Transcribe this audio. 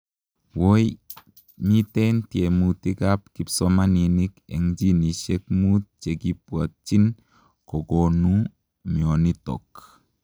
woi, mitei tiemutik ap kipsomaninik eng ginisiek muut chekibwatchiin kokonuu mionotok